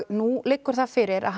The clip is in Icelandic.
nú liggur það fyrir að